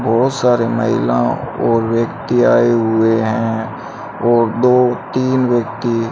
बोहोत सारी महिलाओं और व्यक्ति आए हुए हैं और दो तीन व्यक्ति --